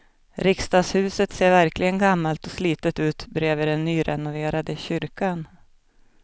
Riksdagshuset ser verkligen gammalt och slitet ut bredvid den nyrenoverade kyrkan.